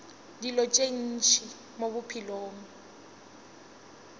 dilo tše ntši mo bophelong